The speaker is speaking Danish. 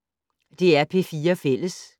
DR P4 Fælles